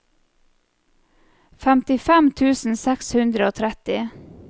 femtifem tusen seks hundre og tretti